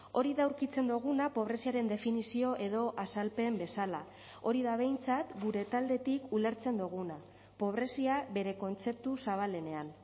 hori da aurkitzen duguna pobreziaren definizio edo azalpen bezala hori da behintzat gure taldetik ulertzen duguna pobrezia bere kontzeptu zabalenean